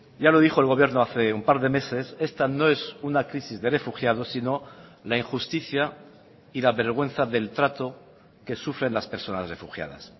ya lo dijo el gobierno hace un par de meses esta no es una crisis de refugiados sino la injusticia y la vergüenza del trato que sufren las personas refugiadas